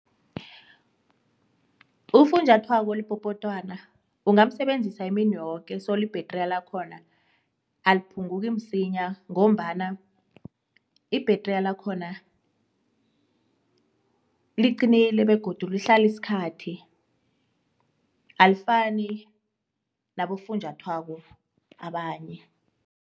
Ufunjathwako olipopotwana ungamsebenzisa imini yoke soli bhedriya lakhona aliphunguki msinya ngombana ibhedriya lakhona liqinile begodu lihlala isikhathi alifani nabofunjathwako abanye.